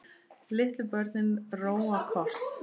Litlu börnin róa kort.